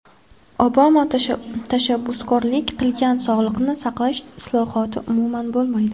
Obama tashabbuskorlik qilgan sog‘liqni saqlash islohoti umuman bo‘lmaydi.